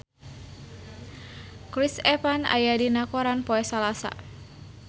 Chris Evans aya dina koran poe Salasa